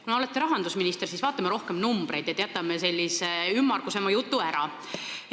Kuna te olete rahandusminister, siis vaatame rohkem numbreid ja jätame ümmargusema jutu ära.